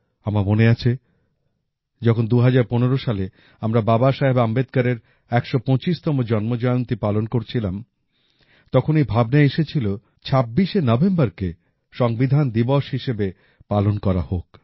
আমার মনে আছে যখন ২০১৫ সালে আমরা বাবা সাহেব আম্বেদকরের ১২৫তম জন্মজয়ন্তী পালন করছিলাম তখন এই ভাবনা এসেছিল যে ২৬শে নভেম্বরকে সংবিধান দিবস হিসাবে পালন করা হোক